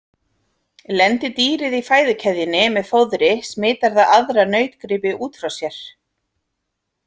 Lendi dýrið í fæðukeðjunni með fóðri smitar það aðra nautgripi út frá sér.